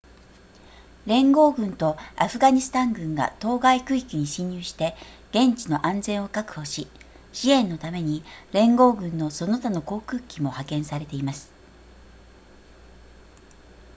連合軍とアフガニスタン軍が当該区域に進入して現地の安全を確保し支援のために連合軍のその他の航空機も派遣されています